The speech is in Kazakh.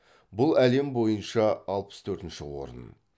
бұл әлем бойыншы алпыс төртінші орын